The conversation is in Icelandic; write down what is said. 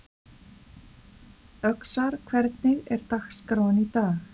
Öxar, hvernig er dagskráin í dag?